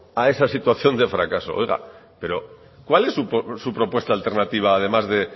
a esa situación de fracaso oiga pero cuál es su propuesta alternativa además de